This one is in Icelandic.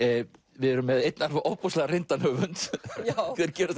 við erum með einn alveg ofboðslega reyndan höfund þeir gerast